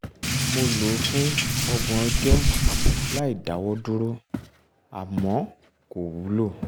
mo lò ó fún ọgbọ̀n ọjọ́ láìdáwọ́dúró àmọ́ kò wúlò